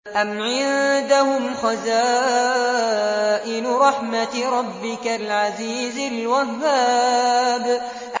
أَمْ عِندَهُمْ خَزَائِنُ رَحْمَةِ رَبِّكَ الْعَزِيزِ الْوَهَّابِ